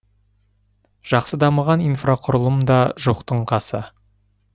жақсы дамыған инфрақұрылым да жоқтың қасы